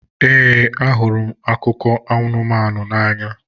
Ee, ahụrụ m akụkọ anụmanụ n'anya.